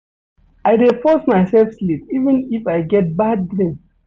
I dey force mysef sleep even if I get bad dream.